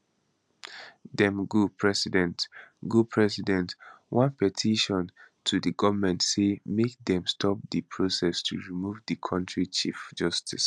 dem go president go president one petition to di goment say make dem stop di process to remove di kontri chief justice